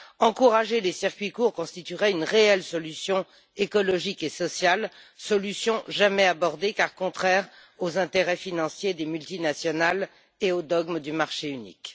Encourager les circuits courts constituerait une réelle solution écologique et sociale, solution jamais abordée car contraire aux intérêts financiers des multinationales et aux dogmes du marché unique.